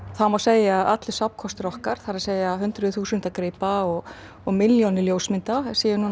það má segja að allur safnkostur okkar það er að hundruð þúsunda gripa og og milljónir ljósmynda sé nú